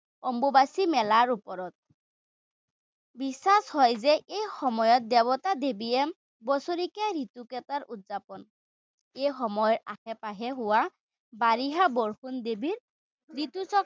অম্বুবাচী মেলাৰ ওপৰত। বিশ্বাস হয় যে এই সময়ত দেৱতা-দেৱীয়ে বছৰেকীয়া ৰিতুক এবাৰ উদযাপণ, এই সময়ৰ আসে-পাসে হোৱা বাৰিষাৰ বৰুণ দেৱৰ ৰিতুচক্ৰৰ